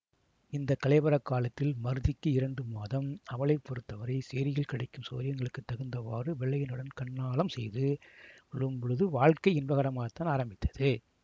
இந்த களேபரக் காலத்தில் மருதிக்கு இரண்டு மாதம் அவளை பொறுத்தவரை சேரியில் கிடைக்கும் சௌகரியங்களுக்குத் தகுந்தவாறு வெள்ளையனுடன் கண்ணாலம் செய்து கொள்ளும்பொழுது வாழ்க்கை இன்பகரமாகத்தான் ஆரம்பித்தது